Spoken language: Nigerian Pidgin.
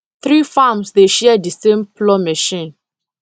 three farms dey share the same plough machine